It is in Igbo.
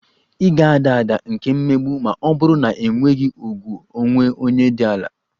Ị ga-ada ada nke mmegbu ma ọ bụrụ na ị nwere ùgwù onwe onye dị ala